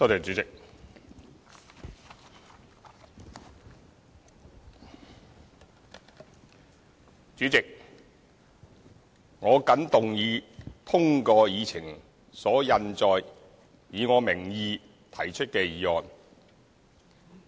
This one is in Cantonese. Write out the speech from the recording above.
主席，我謹動議通過議程所印載，以我名義提出的議案。